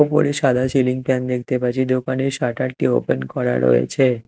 উপরে সাদা ceiling fan দেখতে পারছি দোকানে শাটার -টি ওপেন করা রয়েছে।